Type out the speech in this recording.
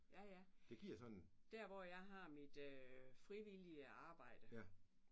Ja ja. Der hvor jeg har mit frivillige arbejde